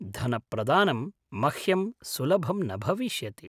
धनप्रदानं मह्यं सुलभं न भविष्यति।